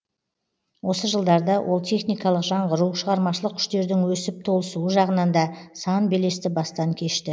осы жылдарда ол техникалық жаңғыру шығармашылық күштердің өсіп толысуы жағынан да сан белесті бастан кешті